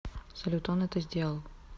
салют он это сделал